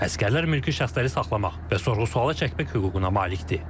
Əsgərlər mülki şəxsləri saxlamaq və sorğu-sualı çəkmək hüququna malik deyil.